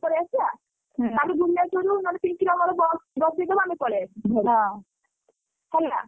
ପଳେଇଆସିଆ। କାଲି ଭୁବନେଶ୍ୱରରୁ ନହେଲେ ପିଙ୍କିର ମୋର bus ରେ ବସେଇଦବୁ ଆମେ ପଳେଇଆସିବୁ ଘରୁକୁ ହେଲା।